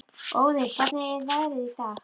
Óðinn, hvernig er veðrið í dag?